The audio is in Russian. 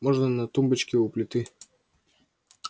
можно на тумбочке у плиты